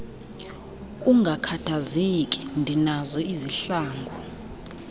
ungakhathazeki ndinazo izihlangu